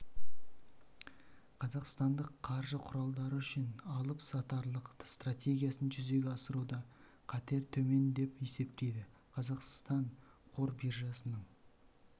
қазақстандық қаржы құралдары үшін алып-сатарлық стратегиясын жүзеге асыруда қатер төмен деп есептейді қазақстан қор биржасының